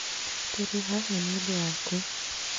Tũrĩ haha nì ũndũ waku